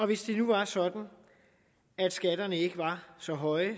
hvis det nu var sådan at skatterne ikke var så høje